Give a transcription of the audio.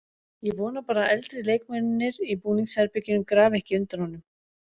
Ég vona bara að eldri leikmennirnir í búningsherberginu grafi ekki undan honum.